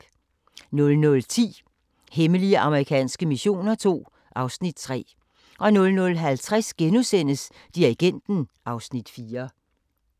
00:10: Hemmelige amerikanske missioner II (Afs. 3) 00:50: Dirigenten (Afs. 4)*